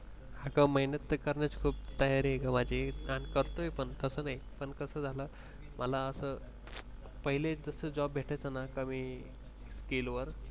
हा मेहनत तर करण्याची खूप तयारी आहे ग माझी पण कसं आहे तसं नाही पहिले जसा job भेटायचं ना कमी skill वर